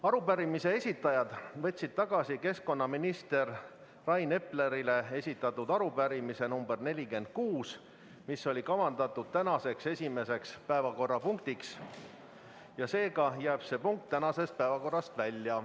Arupärimise esitajad võtsid tagasi keskkonnaminister Rain Eplerile esitatud arupärimise nr 46, mis oli kavandatud tänaseks esimeseks päevakorrapunktiks, seega jääb see punkt tänasest päevakorrast välja.